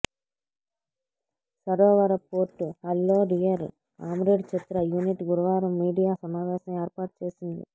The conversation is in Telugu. సరోవర పోర్టు హాల్లో డియర్ కామ్రేడ్ చిత్ర యూనిట్ గురువారం మీడియా సమావేశం ఏర్పాటు చేసింది